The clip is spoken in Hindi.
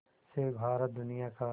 से भारत दुनिया का